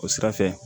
O sira fɛ